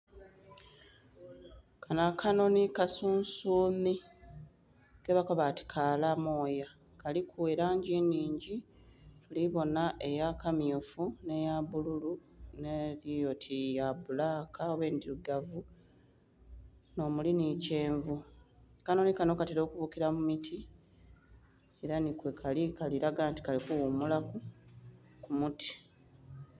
Kanho akanhonhi kasunsuunhi ke bakoba ati kaala mooya. Kaliku elangi nnhingi ndhi bonha eya kammyufu, nh'eya bbululu nh'eli oti ya bbulaka oba endhilugavu nh'omuli nhi kyenvu. Akanhonhi kanho katela okubukila mu miti ela nhi kwekali, kali laga nti kali kughumulaku ku muti.